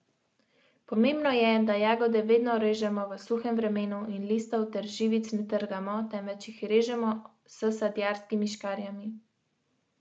Že nekaj minut kasneje so hokejisti Sape izid poravnali.